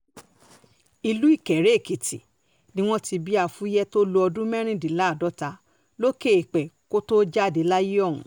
ìlú ìkéré-èkìtì ni wọ́n ti bí afuye tó lo ọdún mẹ́rìndínláàádọ́ta lókè èèpẹ̀ kó tóó jáde láyé ọ̀hún